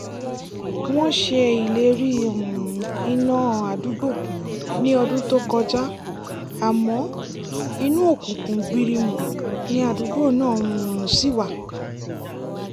wọ́n ṣe ìlérí um iná àdúgbò ní ọdún tó kọjá àmọ́ inú òkùnkùn gbirimù ni àdúgbò náà um ṣì wà